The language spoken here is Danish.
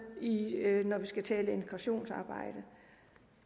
når vi skal tale integrationsarbejde